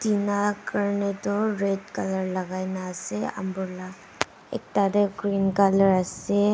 tina karne toh red colour lagai na asae umbrella ekta dae green colour asae.